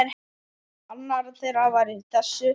Annar þeirra var í þessu!